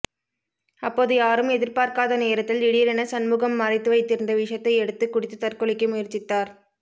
அப்போது யாரும் எதிர்பார்க்காத நேரத்தில் திடீரென சண்முகம் மறைத்து வைத்திருந்த விஷத்தை எடுத்துக் குடித்து தற்கொலைக்கு முயற்சித்தார்